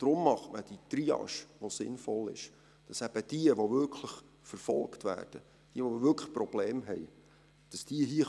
Darum macht man die Triage, die sinnvoll ist, damit eben diejenigen hierbleiben können, die wirklich verfolgt werden, die wirklich Probleme haben.